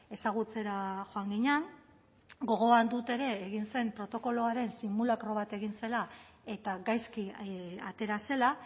ezagutzera joan ginen gogoan dut ere egin zen protokoloaren simulakro bat egin zela eta gaizki atera zela